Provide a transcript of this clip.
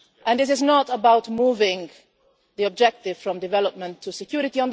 This is not about moving the objective from development to security.